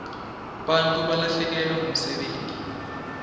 bantfu balahlekelwa ngumsebenti